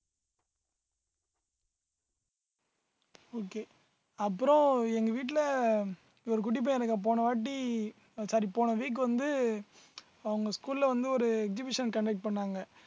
okay அப்புறம் எங்க வீட்டுல ஒரு குட்டி பையன் எனக்கு போன வாட்டி sorry போன week வந்து அவங்க school ல வந்து ஒரு exhibition conduct பண்ணாங்க